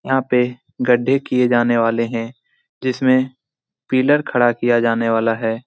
यहाँ पे गड्ढे किये जाने वाले है। जिसमे पिलर खड़ा किया जाने वाला है।